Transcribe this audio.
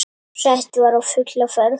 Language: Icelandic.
Sett var á fulla ferð.